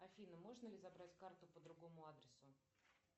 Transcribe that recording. афина можно ли забрать карту по другому адресу